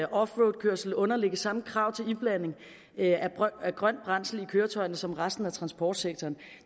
offroadkørsel underlægges samme krav til iblanding af grønt brændsel i køretøjerne som resten af transportsektoren